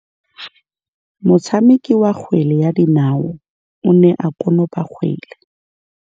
Motshameki wa kgwele ya dinaô o ne a konopa kgwele.